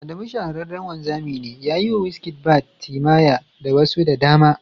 Adamu shahararren wanzami ne, ya yi wa Wizkid barbs, timaya da wasu da dama